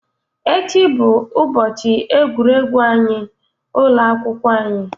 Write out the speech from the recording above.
Echi bụ ụbọchị egwuregwu anyị. ụlọ akwụkwọ anyị.